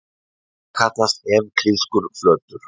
Þetta kallast evklíðskur flötur.